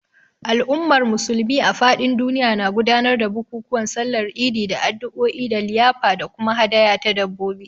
Al’ummar Musulmi a fadin duniya na gudanar da bukukuwan Sallar Idi da addu’o’i da liyafa da kuma hadaya ta dabbobi.